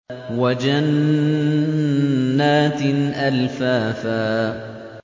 وَجَنَّاتٍ أَلْفَافًا